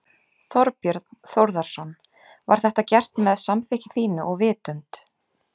Þorbjörn Þórðarson: Var þetta gert með samþykki þínu og vitund?